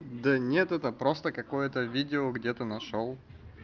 да нет это просто какое-то видео где-то нашёл